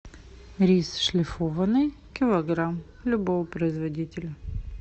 рис шлифованный килограмм любого производителя